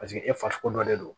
Paseke e fasugu dɔ de don